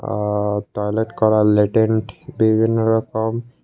আ toilet করার লেটেন্ট বিভিন্ন রকম--